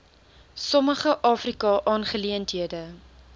sommige afrika aangeleenthede